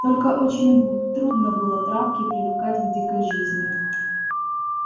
только очень трудно было травке привыкать к дикой жизни